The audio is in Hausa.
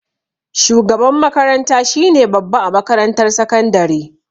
Shugaban makaranta shine babba a makarantar sakandare